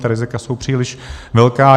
Ta rizika jsou příliš velká.